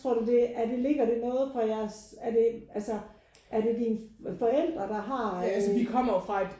Tror du det er det ligger det noget på jeres er det altså er det dine forældre der har